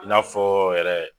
I n'aa fɔ yɛrɛ